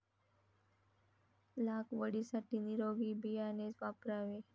लागवडीसाठी निरोगी बियाणेच वापरावे.